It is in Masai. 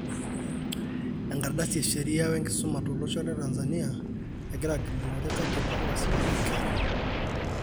Enkardasi esheria e nkisuma tolosho le Tanzania egira agilunore katiba esipata oo nkera.